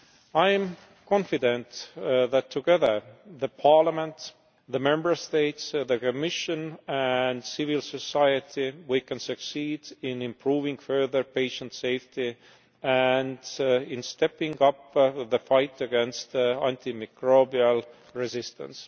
I am confident that together Parliament, the Member States, the Commission and civil society we can succeed in improving further patient safety and in stepping up the fight against antimicrobial resistance.